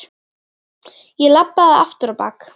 Ég labbaði aftur á bak.